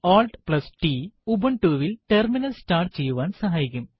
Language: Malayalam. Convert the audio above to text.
CtrlaltT ഉബണ്ടുവിൽ ടെർമിനൽ സ്റ്റാർട്ട് ചെയ്യുവാൻ സഹായിക്കും